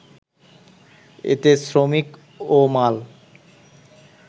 এতে শ্রমিক ও মাল